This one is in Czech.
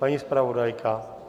Paní zpravodajka?